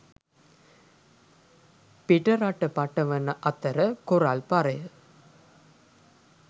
පිටරට පටවන අතර කොරල් පරය